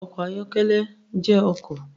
Ọkọ̀ ayọ́kẹ́lẹ́ jẹ́ ọkọ̀.